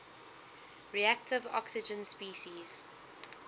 reactive oxygen species